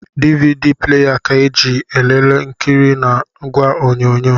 DVD pleya ka eji elelee nkiri na ìgwè onyonyo.